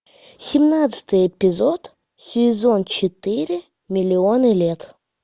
семнадцатый эпизод сезон четыре миллионы лет